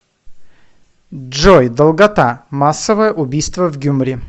джой долгота массовое убийство в гюмри